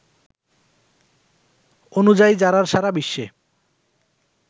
অনুযায়ী জারার সারা বিশ্বে